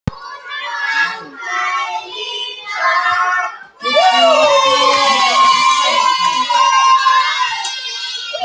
Grímur Hermundsson hefur horfst í augu við galdranorn.